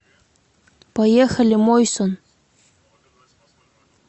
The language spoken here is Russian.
поехали мойсон